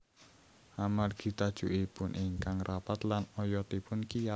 Amargi tajukipun ingkang rapat lan oyotipun kiyat